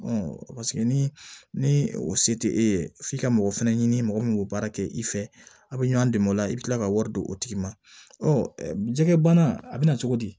ni ni o se tɛ e ye f'i ka mɔgɔ fɛnɛ ɲini mɔgɔ min k'o baara kɛ i fɛ a bɛ ɲɔn dɛmɛ o la i bɛ kila ka wari d'o tigi ma jɛgɛ bana a bɛ na cogo di